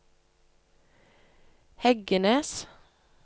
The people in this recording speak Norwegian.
Heggenes